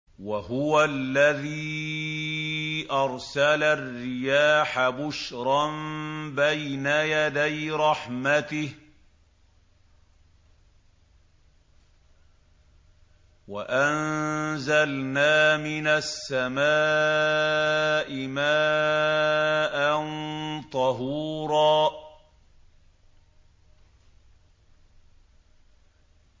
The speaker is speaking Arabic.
وَهُوَ الَّذِي أَرْسَلَ الرِّيَاحَ بُشْرًا بَيْنَ يَدَيْ رَحْمَتِهِ ۚ وَأَنزَلْنَا مِنَ السَّمَاءِ مَاءً طَهُورًا